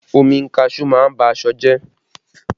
Omi kaṣuú má ń ba aṣọ jẹ